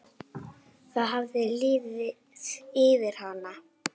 Það hafði liðið yfir hana!